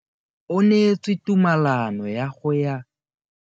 O neetswe tumalano ya go tsaya loeto la go ya kwa China.